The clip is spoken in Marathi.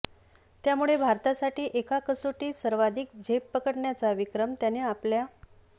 त्यामुळे भारतासाठी एका कसोटीत सर्वाधिक झेप पकडण्याचा विक्रम त्याने आपल्या